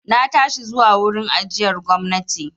Na tashi zuwa wurin ajiyar gwamnati.